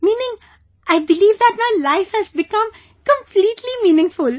Meaning, I believe that my life has become completely meaningful